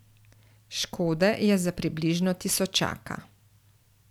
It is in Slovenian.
Škode je za približno tisočaka.